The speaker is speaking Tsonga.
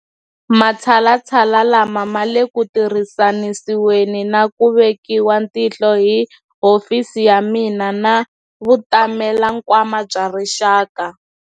Matshalatshala lama ma le ku tirhisanisiweni na ku vekiwa tihlo hi hofisi ya mina na Vutamelankwama bya Rixaka.